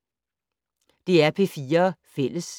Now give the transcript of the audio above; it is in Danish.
DR P4 Fælles